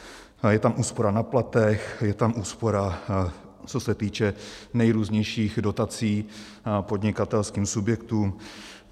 Je tam úspora na platech, je tam úspora, co se týče nejrůznějších dotací podnikatelským subjektům.